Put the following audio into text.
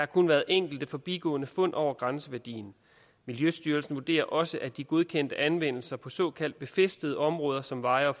kun været enkelte forbigående fund over grænseværdien miljøstyrelsen vurderer også at de godkendte anvendelser på såkaldt befæstede områder som veje og